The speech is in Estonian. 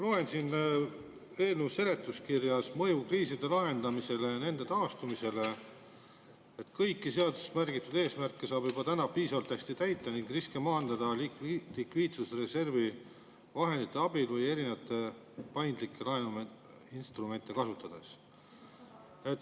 Loen siit eelnõu seletuskirjast, mõju kriiside lahendamisele ja nende taastumisele, et kõiki seaduses märgitud eesmärke saab juba täna piisavalt hästi täita ning riske maandada likviidsusreservi vahendite abil või erinevaid paindlikke laenuinstrumente kasutades.